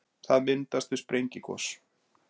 það myndast við sprengigos